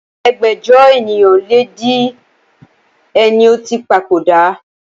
ẹgbẹ́jọ ènìyàn lé di ẹ ní ó ti papòdà